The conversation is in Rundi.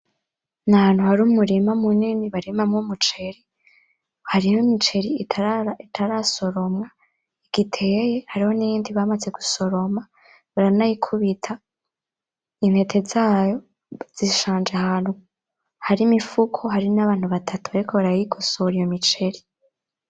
N'ahantu hari umurima munini barimamwo umuceri. Hariho imiceri itarasoromwa igiteye hariho n'iyindi bamaze gusoroma baranayikubita. Intete zayo zishanje ahantu hari imifuko hari n'abantu batatu bariko bayigosora iyo miceri.